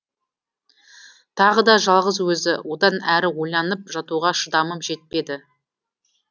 тағы да жалғыз өзі одан әрі ойланып жатуға шыдамым жетпеді